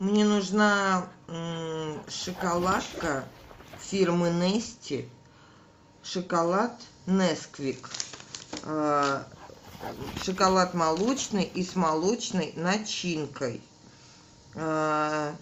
мне нужна шоколадка фирмы нести шоколад несквик шоколад молочный и с молочной начинкой со